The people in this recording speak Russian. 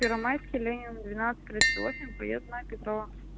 первомайская ленина двенадцать тридцать восемь проездная петрова